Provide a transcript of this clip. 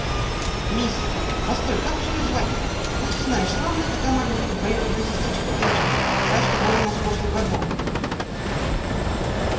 мисс постой как же её звать-то ну ты знаешь славная такая малютка двоюродная сестричка эшли та что была у нас в прошлом году